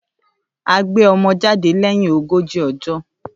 À gbẹ ọmọ jàdẹ leyin ogoji ojo